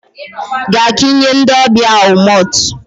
Gaa ka ị nye ndị ọbịa ahụ malt